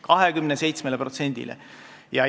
27%-le!